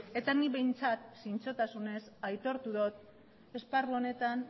eta nik behintzat zintzotasunez aitortu dut esparru honetan